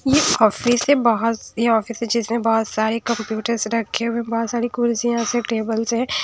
ये ऑफिस से बहुत ये ऑफिस है जिसमें बहुत सारे कंप्यूटर्स रखे हुए बहुत सारी कुर्सियां हैं टेबल्स हैं।